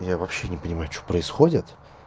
я вообще не понимаю что происходит